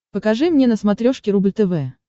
покажи мне на смотрешке рубль тв